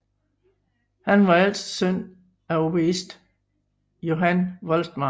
Han var ældste søn af oboist Johan Voltmar